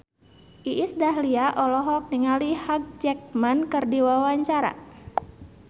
Iis Dahlia olohok ningali Hugh Jackman keur diwawancara